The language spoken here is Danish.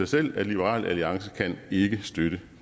selv at liberal alliance ikke kan støtte